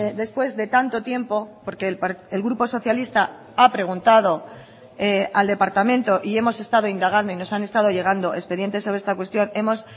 después de tanto tiempo porque el grupo socialista ha preguntado al departamento y hemos estado indagando y nos han estado llegando expedientes sobre esta cuestión hemos